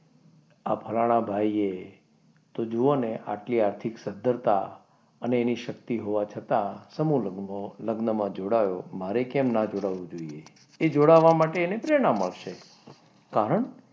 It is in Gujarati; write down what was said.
આ ફલાણા ભાઈ એ જુઓને આટલી આર્થિક સધ્ધરતા અને એની શક્તિ હોવા છતાં સમૂહ લગ્નમાં જોડાયો મારે કેમ ના જોડાવું જોઈએ એ જોડાવા માટે એને પ્રેરણા મળશે કારણ,